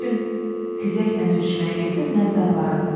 Bu gün xizəklə sürüşməyə getsəniz, məni də aparın.